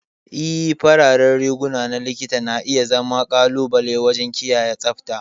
Ee, fararen riguna na Likita na iya zama ƙalubale waje kiyaye tsabta.